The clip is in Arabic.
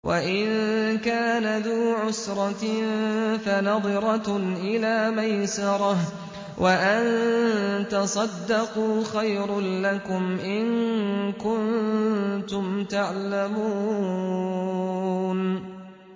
وَإِن كَانَ ذُو عُسْرَةٍ فَنَظِرَةٌ إِلَىٰ مَيْسَرَةٍ ۚ وَأَن تَصَدَّقُوا خَيْرٌ لَّكُمْ ۖ إِن كُنتُمْ تَعْلَمُونَ